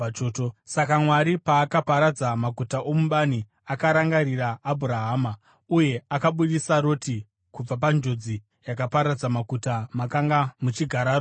Saka Mwari paakaparadza maguta omubani, akarangarira Abhurahama, uye akabudisa Roti kubva panjodzi yakaparadza maguta makanga muchigara Roti.